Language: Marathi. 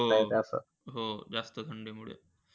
हो, हो. जास्त थंडीमुळे.